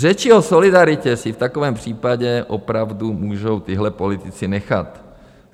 Řeči o solidaritě si v takovém případě opravdu můžou tihle politici nechat.